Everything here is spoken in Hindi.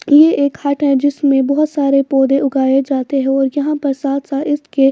ये एक हट है जिसमें बहुत सारे पौधे उगाए जाते हैं और यहां पर साथ-साथ इसके--